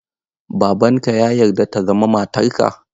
Babanka ya yarda ta zama matarka?